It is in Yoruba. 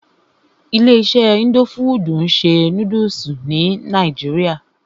Ilé iṣé indo fudù ń ṣe nódúsì ní nàìjíría.